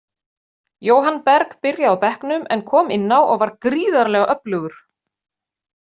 Jóhann Berg byrjaði á bekknum, en kom inn á og var gríðarlega öflugur.